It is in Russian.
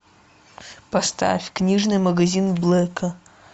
поставь книжный магазин блэка